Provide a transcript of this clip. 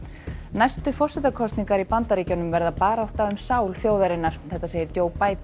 næstu forsetakosningar í Bandaríkjunum verða barátta um sál þjóðarinnar segir